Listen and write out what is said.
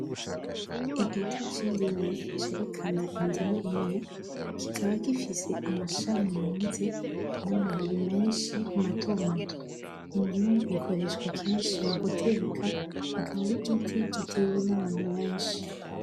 Igiti c'Indimu cerekana indimu imwe, kikaba gifise Amashami yunze n'Amababi menshi matomato. Indimu ikoreshwa kenshi muguteka akaba ari igiti gitewe n'Abantu benshi.